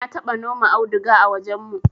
na taba noma auduga a wajen mu